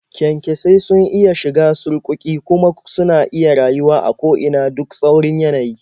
Kyankyasai sun iya shiga surƙuƙi, kuma suna iya rayuwa a ko ina duk tsaurin yanayi.